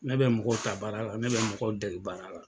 Ne bɛ mɔgɔw ta baara la ne bɛ mɔgɔw dɛge baara la.